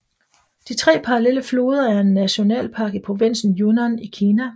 De tre parallelle floder er en nationalpark i provinsen Yunnan i Kina